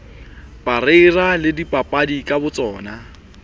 parreira le dibapadi ka botsona